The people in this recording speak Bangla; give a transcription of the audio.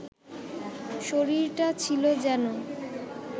শরীরটা ছিল যেন